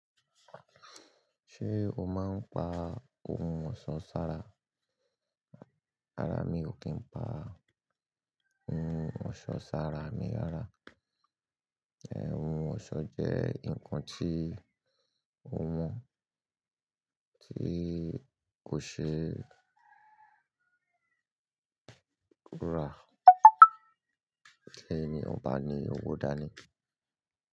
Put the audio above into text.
Ṣé o máa ń pa ohun ọ̀ṣọ́ sára? Rárá, mi ò kí ń pa ohun ọ̀ṣọ́ sára. Mi rára. Ohun ọ̀ṣọ́ jẹ́ nǹkan tí ó mọ̀, tí kò ṣe rà. Ti emi ọba ni, owó dà ní?